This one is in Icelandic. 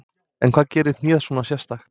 En hvað gerir hnéð svona sérstakt?